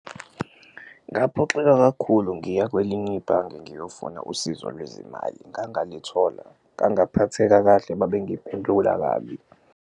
Ngaphoxeka kakhulu ngiya kwelinye ibhange ngiyofuna usizo lwezimali ngangalithola, ngangaphatheka kahle babengiphendula kabi.